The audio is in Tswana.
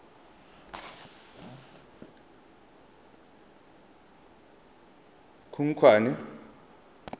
khukhwane